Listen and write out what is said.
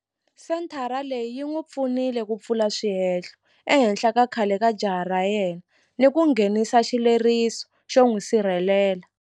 Senthara leyi yi n'wi pfunile ku pfula swihehlo ehenhla ka khale ka jaha ra yena ni ku nghenisa xileriso xo n'wi sirhelela.